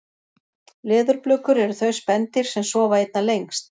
leðurblökur eru þau spendýr sem sofa einna lengst